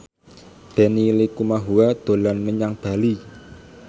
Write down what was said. Benny Likumahua dolan menyang Bali